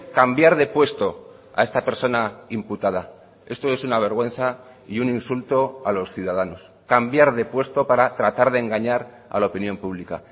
cambiar de puesto a esta persona imputada esto es una vergüenza y un insulto a los ciudadanos cambiar de puesto para tratar de engañar a la opinión pública